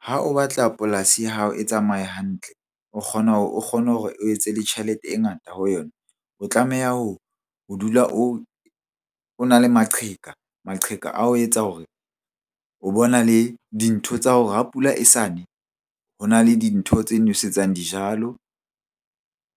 Ha o batla polasi ya hao e tsamaye hantle. O kgona hore o kgone hore o etse le tjhelete e ngata ho yona. O tlameha ho dula o na le maqheka, maqheka a ho etsa hore o bo na le dintho tsa hore ha pula e sa ne. Ho na le dintho tse nwesetsang dijalo,